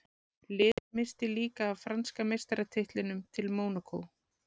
Liðið missti líka af franska meistaratitlinum til Mónakó.